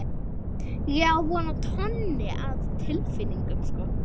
Ég á von á tonni af tilfinningum.